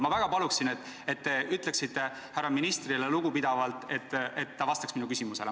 Ma väga palun, et te ütleksite härra ministrile lugupidavalt, et ta vastaks minu küsimusele.